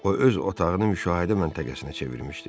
O öz otağını müşahidə məntəqəsinə çevirmişdi.